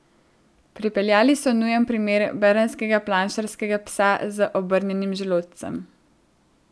Pripeljali so nujni primer, bernskega planšarskega psa z obrnjenim želodcem.